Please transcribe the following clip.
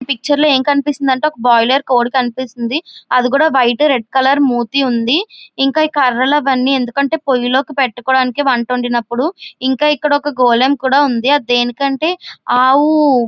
మనకి ఈ పిక్చర్ లో ఏమి కనిపిస్తునాయి అంటే ఒక్క బాయిలర్ కోడి కనిపిస్తుది అది కూడా వైట్ రెడ్ కలర్ మూతి ఉంది ఇంకా ఇక్కడ ఈ కారాలు అన్ని అందుకు అంటే పోయాలోకి పెట్టడానికి వంట వడినపుడు ఇంకా ఇక్కడ ఒక్క గోళము కూడా ఉంది అది దేనికి ఉంటే ఆవు--